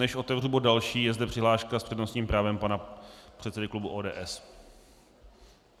Než otevřu bod další, je zde přihláška s přednostním právem pana předsedy klubu ODS.